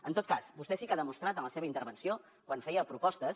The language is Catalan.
en tot cas vostè sí que ha demostrat en la seva intervenció quan feia propostes